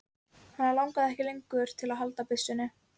Hann langaði ekki lengur til að halda byssunni.